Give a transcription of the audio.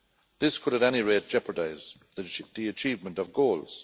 This could, at any rate, jeopardise the achievement of goals.